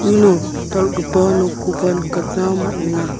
uno dal·gipa nokkoba nikatna man·enga.